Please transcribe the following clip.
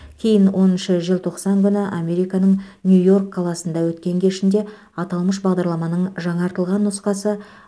кейін оныншы желтоқсан күні американың нью йорк қаласында өткен кешінде аталмыш бағдарламаның жаңартылған нұсқасы